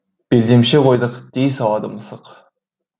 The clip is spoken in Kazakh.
белдемше қойдық дей салады мысық